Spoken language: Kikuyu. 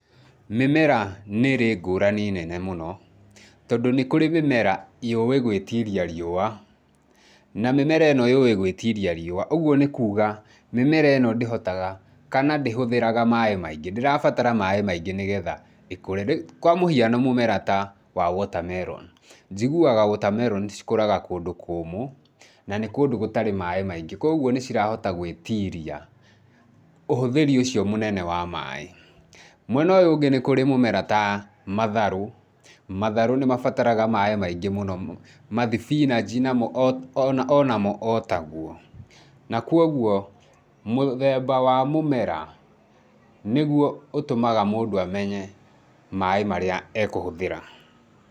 Mĩmera nĩrĩ ngũrani nene mũno tondũ nĩkũrĩ mĩmera yũĩ gwĩtiria riũwa, na mĩmera ĩno yowĩ gwĩtiri riũwa ũguo nĩkuga mĩmera ĩno ndĩhotaga kana ndĩhũthagĩra maaĩ maingĩ, ndĩrabatara maaĩ maingĩ nĩgetha ĩkũre, kwa mũhiano mũmera ta water melon njiguaga cs] water melon cikũraga kũndũ kũmũ na nĩ kũndũ gũtarĩ maaĩ maingĩ koguo nĩcirahota gwĩtiria ũhũthĩri ũcio mũnene wa maaĩ. Mwena ũyũ ũngĩ nĩ kũrĩ mĩmera ta matharũ, matharũ nĩmabataraga maaĩ maingĩ mũno mathibinaji namo onamo otaguo na kuoguo, mũthemba wa mũmera nĩguo ũtũmaga mũndũ amenye maaĩ marĩa ekũhũthĩra.